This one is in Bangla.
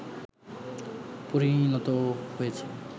পরিণত হয়েছে